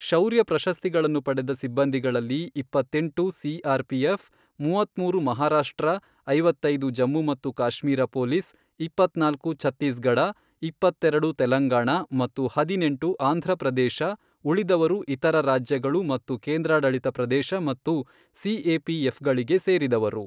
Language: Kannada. ಶೌರ್ಯ ಪ್ರಶಸ್ತಿಗಳನ್ನು ಪಡೆದ ಸಿಬ್ಬಂದಿಗಳಲ್ಲಿ, ಇಪ್ಪತ್ತೆಂಟು ಸಿಆರ್ಪಿಎಫ್, ಮೂವತ್ಮೂರು ಮಹಾರಾಷ್ಟ್ರ, ಐವತ್ತೈದು ಜಮ್ಮು ಮತ್ತು ಕಾಶ್ಮೀರ ಪೊಲೀಸ್, ಇಪ್ಪತ್ನಾಲ್ಕು ಛತ್ತೀಸ್ಗಢ, ಇಪ್ಪತ್ತೆರೆಡು ತೆಲಂಗಾಣ ಮತ್ತು ಹದಿನೆಂಟು ಆಂಧ್ರಪ್ರದೇಶ ಉಳಿದವರು ಇತರ ರಾಜ್ಯಗಳು ಮತ್ತು ಕೇಂದ್ರಾಡಳಿತ ಪ್ರದೇಶ ಮತ್ತು ಸಿಎಪಿಎಫ್ಗಳಿಗೆ ಸೇರಿದವರು.